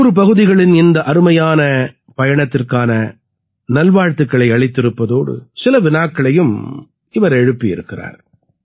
100 பகுதிகளின் இந்த அருமையான பயணத்திற்கான நல்வாழ்த்துக்களை அளித்திருப்பதோடு சில வினாக்களையும் இவர் எழுப்பி இருக்கிறார்